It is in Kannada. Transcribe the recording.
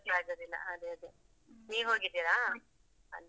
ಗೊತ್ತಾಗುದಿಲ್ಲಾ, ಅದೇ ಅದೇ ನೀವು ಹೋಗಿದಿರಾ? ಅಲ್ಲಿ.